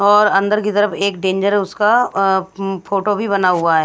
और अंदर की तरफ एक डेंजर उसका फोटो भी बना हुआ है।